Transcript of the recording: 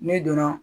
N'i donna